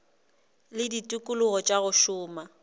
le ditikologo tša go šoma